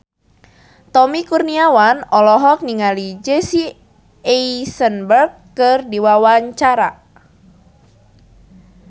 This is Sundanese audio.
Tommy Kurniawan olohok ningali Jesse Eisenberg keur diwawancara